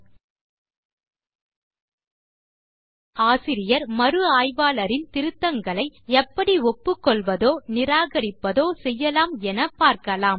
இப்போது ஆசிரியர் மறு ஆய்வாளரின் திருத்தங்களை எப்படி ஒப்புக்கொள்வதோ நிராகரிப்பதோ செய்யலாம் என பார்க்கலாம்